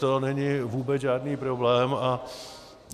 To není vůbec žádný problém.